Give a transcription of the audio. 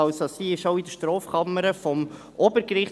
Sie ist also auch in der Strafkammer des Obergerichts;